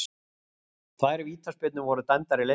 Tvær vítaspyrnur voru dæmdar í leiknum